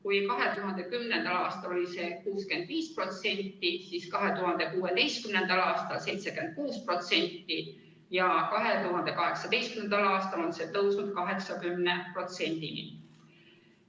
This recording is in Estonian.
Kui 2010. aastal oli see 65%, siis 2016. aastal 76% ja 2018. aastal on see tõusnud 80%-ni.